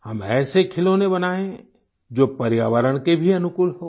हम ऐसे खिलौने बनाएं जो पर्यावरण के भी अनुकूल हों